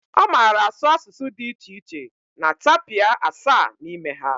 Ọ mara asụ asụsụ dị iche iche na tapia asaa n'ime ha